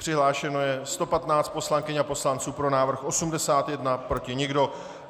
Přihlášeno je 115 poslankyň a poslanců, pro návrh 81, proti nikdo.